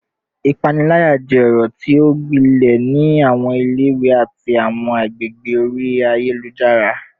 Ipanilaya jẹ ọrọ ti o gbilẹ ni awọn ile-iwe ati awọn agbegbe ori ayelujara